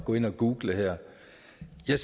jeg